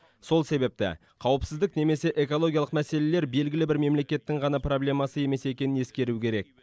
сол себепті қауіпсіздік немесе экологиялық мәселелер белгілі бір мемлекеттің ғана проблемасы емес екенін ескеру керек